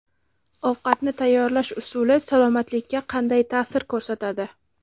Ovqatni tayyorlash usuli salomatlikka qanday ta’sir ko‘rsatadi?.